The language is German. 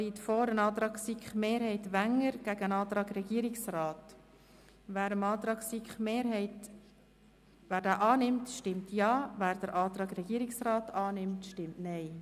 Wer den Antrag der SiK unterstützt, stimmt Ja, wer den Antrag der Regierung vorzieht, stimmt Nein.